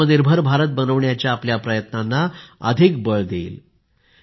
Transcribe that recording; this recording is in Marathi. ते आत्मनिर्भर भारत बनवण्याच्या आपल्या प्रयत्नांना अधिक बळ देईल